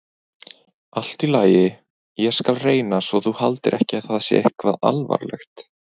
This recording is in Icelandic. Allt í lagi, ég skal reyna svo þú haldir ekki að það sé eitthvað alvarlegt.